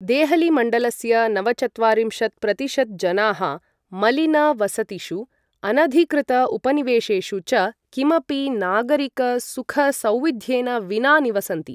देहली मण्डलस्य नवचत्वारिंशत् प्रतिशत् जनाः मलिन वसतिषु, अनधिकृत उपनिवेशेषु च किमपि नागरिक सुख सौविध्येन विना निवसन्ति।